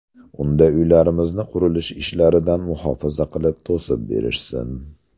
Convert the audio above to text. Unda uylarimizni qurilish ishlaridan muhofaza qilib to‘sib berishsin.